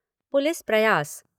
police प्रयास